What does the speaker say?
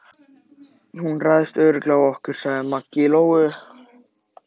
Hún ræðst örugglega á okkur, sagði Maggi Lóu.